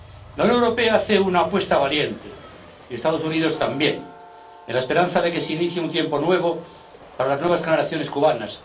La Unión Europea hace una apuesta valiente y los Estados Unidos también, en la esperanza de que se inicie un tiempo nuevo para las nuevas generaciones cubanas.